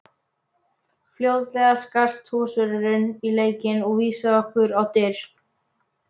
Fljótlega skarst húsvörðurinn í leikinn og vísaði okkur á dyr.